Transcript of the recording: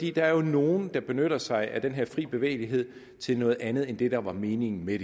er jo nogle der benytter sig af den fri bevægelighed til noget andet end det der var meningen med